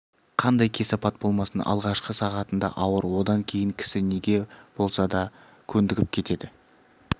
қандай кесапат болмасын алғашқы сағатында ауыр одан кейін кісі неге болса да көндігіп кетеді